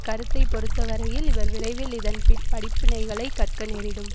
கருத்தை பொறுத்தவரையில் இவர் விரைவில் இதன் பின் படிப்பினைகளை கற்க நேரிடும்